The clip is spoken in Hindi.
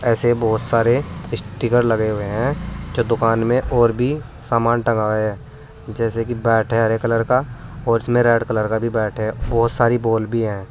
ऐसे बहुत सारे स्टीकर लगे हुए हैं जो दुकान में और भी सामान टंगा है जैसे कि बैट है हरे कलर का और इसमें रेड कलर का भी बैट है बहुत सारी बॉल भी हैं।